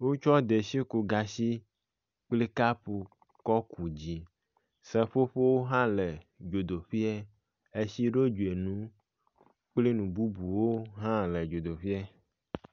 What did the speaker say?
Wotsɔ detsiƒogatsi kple kapu kɔ ku dzi. Seƒoƒo hã le dzodoƒea. Etsiɖodzinu kple nububuwo hã le dzodeƒea.